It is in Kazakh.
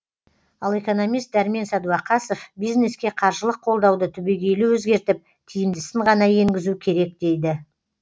ал экономист дәрмен сәдуақасов бизнеске қаржылық қолдауды түбегейлі өзгертіп тиімдісін ғана енгізу керек дейді